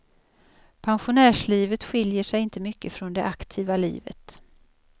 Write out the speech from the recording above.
Pensionärslivet skiljer sig inte mycket från det aktiva livet.